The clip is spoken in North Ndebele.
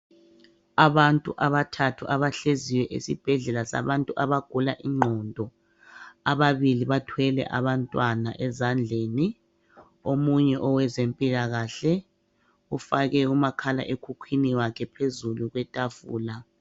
Abantu abathathu abahleziyo esibhedlela sabantu abagula ingqondo, ababili bathwele abantwana ezandleni, omunye owenzempilakahle ufake umakhala ekhukwini wakhe phezulu kwetafula.